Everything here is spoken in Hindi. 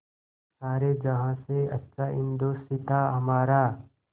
सारे जहाँ से अच्छा हिन्दोसिताँ हमारा